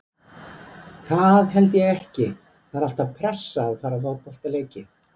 Það held ég ekki, það er alltaf pressa að fara í fótboltaleiki.